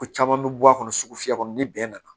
Ko caman bɛ bɔ a kɔnɔ sugu fiyɛ kɔnɔ ni bɛn nana